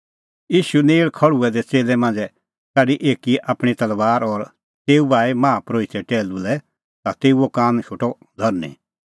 ईशू नेल़ खल़्हुऐ दै च़ेल्लै मांझ़ै काढी एकी आपणीं तलबार और तेऊ बाही माहा परोहिते टैहलू लै ता तेऊओ कान शोटअ धरनीं